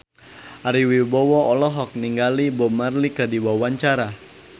Ari Wibowo olohok ningali Bob Marley keur diwawancara